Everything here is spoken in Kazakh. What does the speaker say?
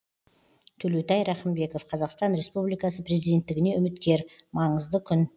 төлеутай рахымбеков қазақстан республикасына президенттігіне үміткер маңызды күн